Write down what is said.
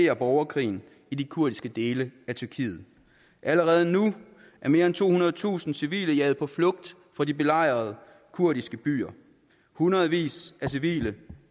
af borgerkrigen i de kurdiske dele af tyrkiet allerede nu er mere end tohundredetusind civile jaget på flugt fra de belejrede kurdiske byer hundredvis af civile